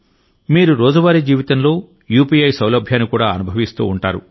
మీరు రోజువారీ జీవితంలో యూపీఐ సౌలభ్యాన్ని కూడా అనుభవిస్తూ ఉంటారు